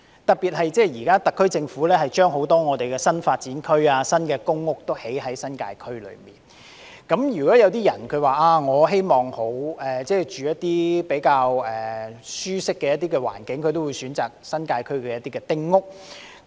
特別是，特區政府在新界區發展很多新發展區及公共屋邨，而如果市民想居住環境較舒適，也會選擇新界區的丁屋。